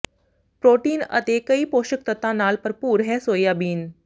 protein ਅਤੇ ਕਈ ਪੋਸ਼ਕ ਤੱਤਾਂ ਨਾਲ ਭਰਪੂਰ ਹੈ ਸੋਇਆਬੀਨ